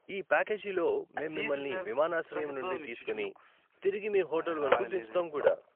ఈ ప్యాకేజీలో, మేము మిమల్ని విమానాశ్రయం నుండి తీసుకొని తిరిగి మీ హోటల్ వరకు దించుతాము కూడా.